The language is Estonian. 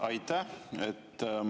Aitäh!